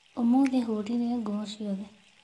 Ũmũthĩ hũrire nguo ciothe